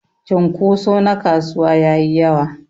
cunkuso na kasuwa yayi yawa.